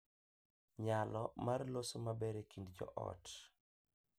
Nyalo mar loso maber e kind joot